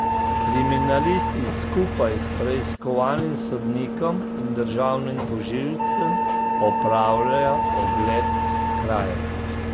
Kriminalisti skupaj s preiskovalnim sodnikom in državnim tožilcem opravljajo ogled krajev.